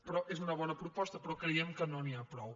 però és una bona proposta però creiem que no n’hi ha prou